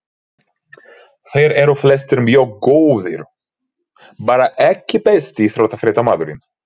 Þeir eru flestir mjög góðir bara EKKI besti íþróttafréttamaðurinn?